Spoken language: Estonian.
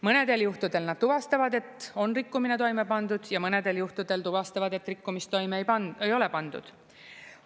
Mõnedel juhtudel nad tuvastavad, et on rikkumine toime pandud, ja mõnedel juhtudel tuvastavad, et rikkumist toime ei ole pandud.